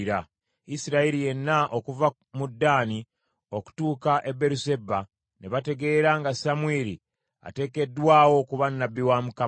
Isirayiri yenna okuva mu Ddaani okutuuka e Beeruseba ne bategeera nga Samwiri ateekeddwawo okuba nnabbi wa Mukama .